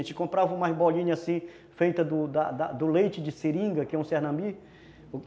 A gente comprava umas bolinhas assim, feita da da do leite de seringa, que é um cernambi.